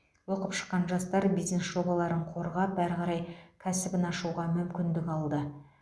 оқып шыққан жастар бизнес жобаларын қорғап әрі қарай кәсібін ашуға мүмкіндік алды